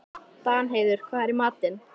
Danheiður, hvað er í matinn?